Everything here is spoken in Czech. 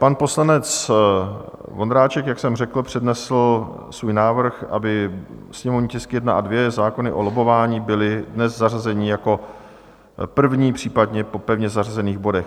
Pan poslanec Vondráček, jak jsem řekl, přednesl svůj návrh, aby sněmovní tisky 1 a 2, zákony o lobbování, byly dnes zařazeny jako první, případně po pevně zařazených bodech.